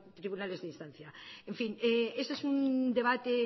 tribunales de instancia en fin este es un debate